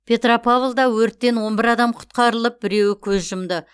петропавлда өрттен он бір адам құтқарылып біреуі көз жұмды